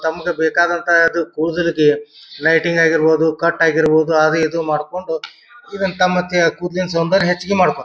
ತಮ್ಮ್ಗೆ ಬೇಕಾದಂತ ಅದು ಕೂದಲಗೆ ಲೈಟಿಂಗ್ ಆಗಿರಬಹುದು ಕಟ್ ಆಗಿರಬಹುದು ಅದು ಇದು ಮಾಡಕೊಂಡು ಇದನ್ನ ತಮ್ಮತ್ಯ ಕೂದ್ಲಿನ್ ಸೌಂದರ್ಯ ಹೆಚ್ಚಗೆ ಮಾಡ್ಕೊಂತ್ .]